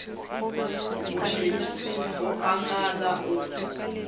mošetši o a ngala o